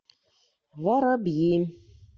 воробьи